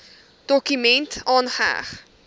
dokument aangeheg